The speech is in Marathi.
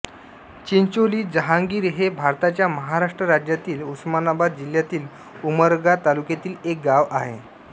चिंचोली जहांगीर हे भारताच्या महाराष्ट्र राज्यातील उस्मानाबाद जिल्ह्यातील उमरगा तालुक्यातील एक गाव आहे